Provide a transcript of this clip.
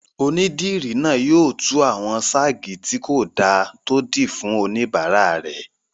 Onídìrí náà yóò tú àwọn sáàgì tí kò dáa tó dì fún oníbàárà rẹ̀